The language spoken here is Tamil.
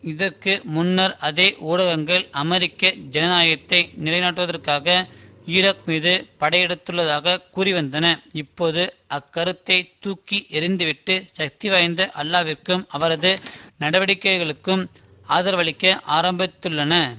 இதற்கு முன்னர் அதே ஊடகங்கள் அமெரிக்க ஜனநாயகத்தை நிலைநாட்டுவதற்காக ஈராக் மீது படையெடுத்ததாக கூறிவந்தன இப்போது அந்தக்கருத்தை தூக்கி எறிந்து விட்டு சக்திவாய்ந்த அல்லாவிக்கும் அவரது நடவடிக்கைகளுக்கும் ஆதரவளிக்க ஆரம்பித்துள்ளன